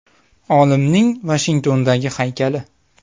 Olimning Vashingtondagi haykali.